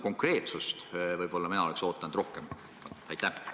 Konkreetsust oleks võib-olla mina rohkem oodanud.